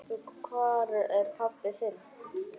Og hvar er pabbi þinn?